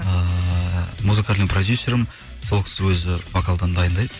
ыыы музыкальный продюсерім сол кісі өзі вокалдан дайындайды